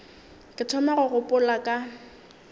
ke thoma go gopola ka